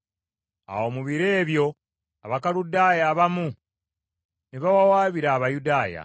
Awo mu biro ebyo Abakaludaaya abamu ne bawawaabira Abayudaaya.